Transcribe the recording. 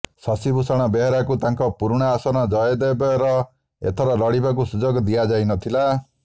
ଶଶିଭୂଷଣ ବେହେରାଙ୍କୁ ତାଙ୍କ ପୁରୁଣା ଆସନ ଜୟଦେବେର ଏଥର ଲଢିବାକୁ ସୁଯୋଗ ଦିଆଯାଇ ନ ଥିଲା